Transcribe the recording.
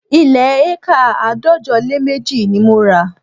Ilẹ̀ éékà àádọ́jọ lé méjì ni mo rà